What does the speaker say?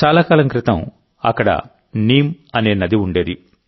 చాలా కాలం క్రితం అక్కడ నీమ్ అనే నది ఉండేది